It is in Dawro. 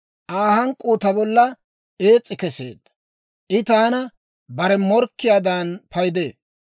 Aa hank'k'uu ta bolla ees's'i keseedda; I taana bare morkkiyaadan paydee.